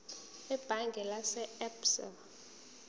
ebhange lase absa